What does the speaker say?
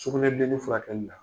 Sugunɛbilennin furakɛli la.